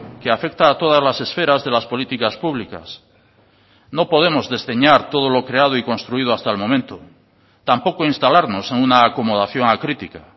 que afecta a todas las esferas de las políticas públicas no podemos desdeñar todo lo creado y construido hasta el momento tampoco instalarnos en una acomodación acrítica